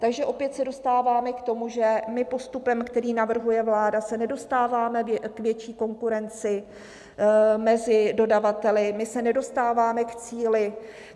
Takže opět se dostáváme k tomu, že my postupem, který navrhuje vláda, se nedostáváme k větší konkurenci mezi dodavateli, my se nedostáváme k cíli.